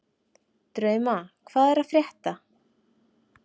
Drauma, hvað er að frétta?